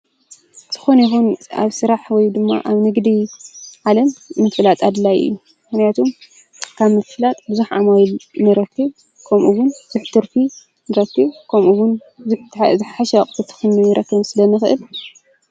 ዝኾነ ይኹን ኣብ ስራሕ ወይ ድማ ኣብ ንግዲ ዓለም ምፍላጥ ኣድላዩ እዩ፤ ምክንያቱም ካብ ምፍላጥ ቡዙሕ ዓማዊል ንረክብ ከምኡ ዉን ከምኡ ዉን ትርፊ ንረክብ ከምኡ ዉን ከምኡ ዉን ዝሕሸ ኣቁሑት ክንረክብ ስለንክእል።